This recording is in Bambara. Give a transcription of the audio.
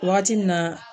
Wagati min na